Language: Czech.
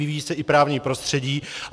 Vyvíjí se i právní prostředí.